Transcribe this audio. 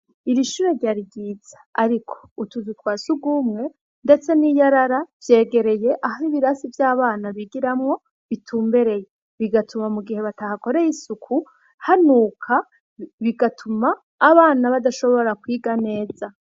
Iri shure ryari ryiza, ariko utuzu twa surwumwe ndetse n'iyarara vyegereye ahari ibirasi vy'abana bigiramwo bitumbereye. Bigatuma mu gihe batahakoreye isuku, hanuka bigatuma abana badashobora kwiga neza.